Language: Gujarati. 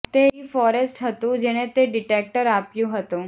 તે ડી ફોરેસ્ટ હતું જેણે તે ડિટેક્ટર આપ્યું હતું